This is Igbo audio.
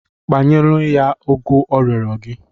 Kpanyenụ ya ụgụ ọ rịọrọ gị!